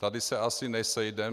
Tady se asi nesejdeme.